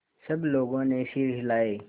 सब लोगों ने सिर हिलाए